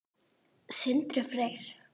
Sindri Freyr.